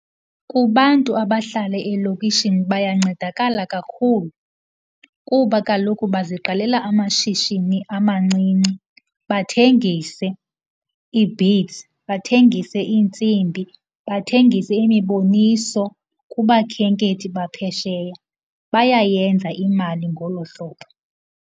Kubantu abahlala elokishini bayancedakala kakhulu kuba kaloku baziqalela amashishini amancinci bathengise ii-beads, bathengise iintsimbi, bathengise imiboniso kubakhenkethi baphesheya. Bayayenza imali ngolo hlobo.